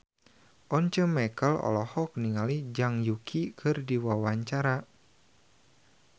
Once Mekel olohok ningali Zhang Yuqi keur diwawancara